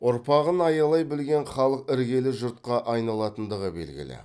ұрпағын аялай білген халық іргелі жұртқа айналатындығы белгілі